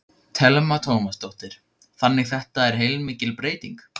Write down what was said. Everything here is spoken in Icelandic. Telma Tómasdóttir: Þannig þetta er heilmikil breyting?